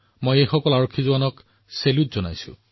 মই এই সকলো জোৱানক অভিবাদন জনাইছো